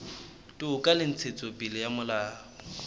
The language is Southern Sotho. toka le ntshetsopele ya molao